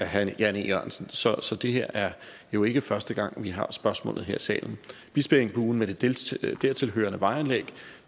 herre jan e jørgensen så så det her jo ikke første gang vi har spørgsmålet her i salen bispeengbuen med det dertilhørende vejanlæg er